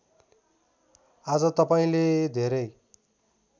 आज तपाईँले धेरै